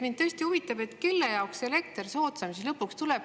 Mind tõesti huvitab, kelle jaoks elekter soodsam siis lõpuks tuleb.